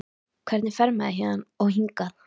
Hvernig fer maður héðan. og hingað??